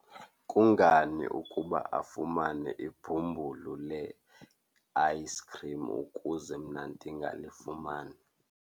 Kungani ukuba afumane ibhumbulu le-ayisikhrim ukuze mna ndingalifumani?